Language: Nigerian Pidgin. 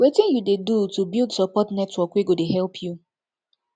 wetin you dey do to build support network wey go dey help you